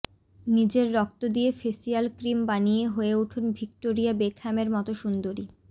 নিজের রক্ত দিয়ে ফেসিয়াল ক্রিম বানিয়ে হয়ে উঠুন ভিক্টোরিয়া বেকহ্যামের মতো সুন্দরী